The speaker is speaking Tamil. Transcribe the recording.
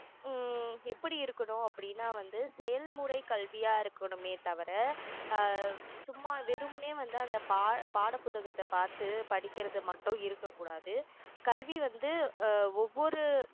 ஹம் எப்படி இருக்கணும் அப்படின்னா வந்து செயல்முறை கல்வியா இருக்கணுமே தவிர ஆஹ் சும்மா வெறுமனே வந்து அந்த பா~ பாட புத்தகத்தை பார்த்து படிக்கிறது மட்டும் இருக்க கூடாது கல்வி வந்து ஆஹ் ஒவ்வொரு